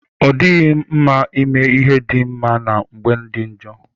o dighi nma ime ihe di nma na mgbe di njo.